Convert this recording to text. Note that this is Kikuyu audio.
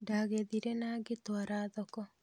Ndagethire nagĩtwara thoko